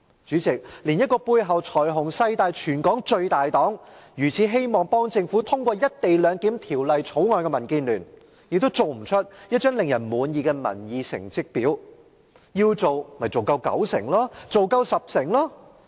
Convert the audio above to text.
主席，連背後財雄勢大的全港最大黨、如此希望為政府通過《條例草案》的民建聯，也"做"不出一張令人滿意的民意成績表——要做，便應做到有九成或十成回應者支持。